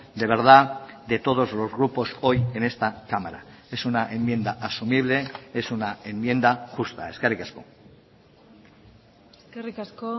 de verdad de todos los grupos hoy en esta cámara es una enmienda asumible es una enmienda justa eskerrik asko eskerrik asko